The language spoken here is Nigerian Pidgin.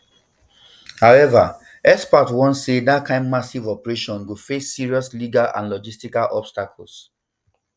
however experts warn say dat kain massive operation go face serious legal and logistical obstacles